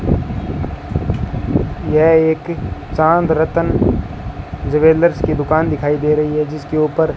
ये यह एक रतन ज्वेलर्स की दुकान दिखाई दे रही जिसके ऊपर--